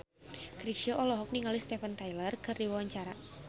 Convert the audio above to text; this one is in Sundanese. Chrisye olohok ningali Steven Tyler keur diwawancara